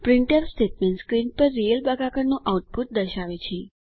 printf statement screen પર real ભાગાકારનું output દર્શાવે છે